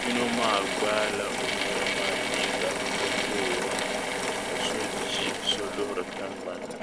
yino maa gbaala yino maa liiga n-voora ka so ʒi so luhiri tiŋgbani ni.